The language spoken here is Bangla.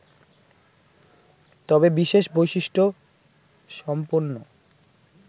তবে বিশেষ বৈশিষ্ট সম্পন্ন